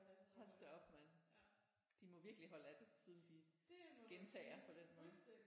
Hold da op mand de må virkelig holde af det siden de gentager på den måde